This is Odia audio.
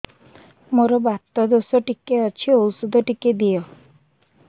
ମୋର୍ ବାତ ଦୋଷ ଟିକେ ଅଛି ଔଷଧ ଟିକେ ଦିଅ